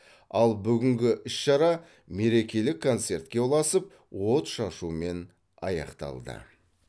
ал бүгінгі іс шара мерекелік концертке ұласып отшашумен аяқталды